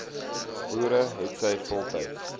boere hetsy voltyds